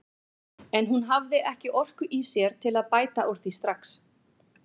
En hún hafði ekki orku í sér til að bæta úr því strax.